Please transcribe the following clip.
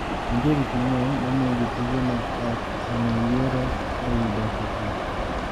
Nitie gik mang`eny mamiyo jotije mag ot onge yiero e wi dok e tich.